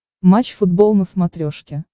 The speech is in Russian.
матч футбол на смотрешке